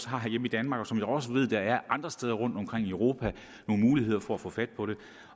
har herhjemme i danmark og som jeg også ved er andre steder rundtomkring i europa nogle muligheder for at få fat